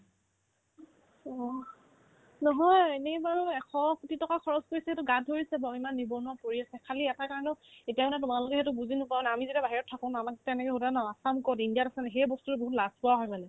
ওঅ নহয় এনে বাৰু এশকোটি টকা খৰচ কৰিছে to সেইটো গাত ধৰিছে বাহ্ ইমান নিবনুৱা পৰি আছে খালী এটা কাৰণত এতিয়া মানে তোমালোকে সেইটো বুজি নোপোৱা মানে আমি যেতিয়া বাহিৰত থাকো ন আমাক তেনেকে সোধে ন আছানো ক'ত ইণ্ডিয়াত আছা নেকি সেই বস্তুতো বহুত লাজপোৱা হয় মানে